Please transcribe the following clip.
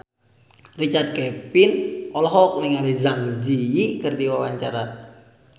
Richard Kevin olohok ningali Zang Zi Yi keur diwawancara